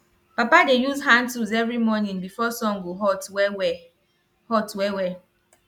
papa dey use hand tools every morning before sun go hot wellwell hot wellwell